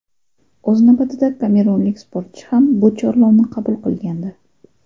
O‘z navbatida kamerunlik sportchi ham bu chorlovni qabul qilgandi.